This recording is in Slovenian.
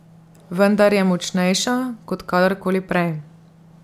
Vendar je močnejša, kot kadar koli prej.